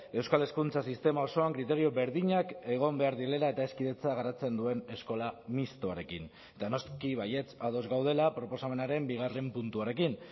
euskal hezkuntza sistema osoan kriterio berdinak egon behar direla eta ez kidetza garatzen duen eskola mistoarekin eta noski baietz ados gaudela proposamenaren bigarren puntuarekin